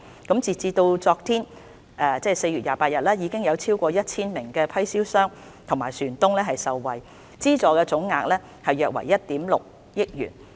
截至昨天，已有超過 1,000 名批銷商和船東受惠，資助總額約為1億 6,000 萬元。